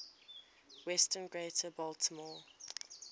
western greater baltimore